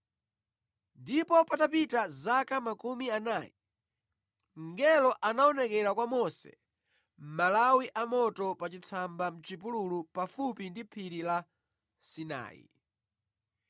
“Ndipo patapita zaka makumi anayi mngelo anaonekera kwa Mose mʼmalawi amoto pa chitsamba mʼchipululu pafupi ndi Phiri la Sinai.